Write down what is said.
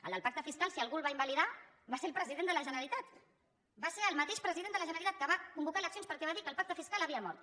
el del pacte fiscal si algú el va invalidar va ser el president de la generalitat va ser el mateix president de la generalitat que va convocar eleccions perquè va dir que el pacte fiscal havia mort